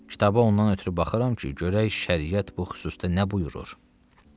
Kitaba ondan ötrü baxıram ki, görək şəriət bu xüsusda nə buyurur.